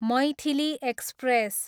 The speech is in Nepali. मैथिली एक्सप्रेस